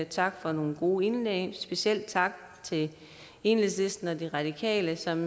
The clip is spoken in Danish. tak for nogle gode indlæg specielt tak til enhedslisten og de radikale som